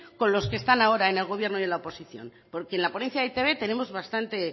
con los que están ahora en el gobierno y en la oposición porque en la ponencia de e i te be tenemos bastantes